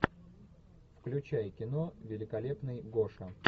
включай кино великолепный гоша